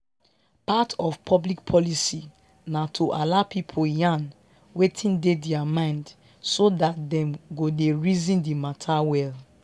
part of public policy na to allow people yarn wetin dey their mind so dat dem go dey reason di matter well